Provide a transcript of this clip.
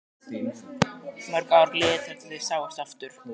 Mörg ár liðu þar til þau sáust aftur.